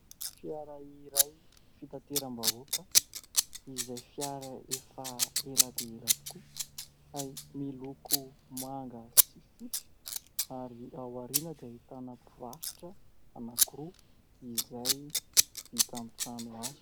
Fiara iray fitateram-bahoaka, izay fiara efa ela dia ela tokoa ary miloko manga sy fotsy. Ary ao aoriana dia ahitana mpivarotra anankiroa izay vita amin-trano hazo.